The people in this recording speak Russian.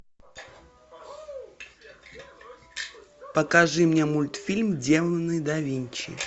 покажи мне мультфильм демоны да винчи